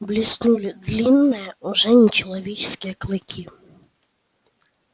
блеснули длинные уже нечеловеческие клыки